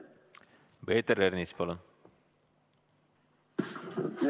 Peeter Ernits, palun!